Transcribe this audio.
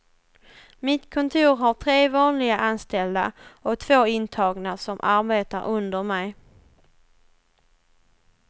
Mitt kontor har tre vanliga anställda och två intagna som arbetar under mig.